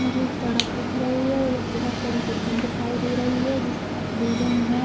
मुझे एक सड़क दिख रही है और एक बहुत बड़ी बिल्डिंग दिखाई दे रही है जिस बिल्डिंग मे